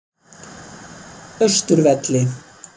Austurvelli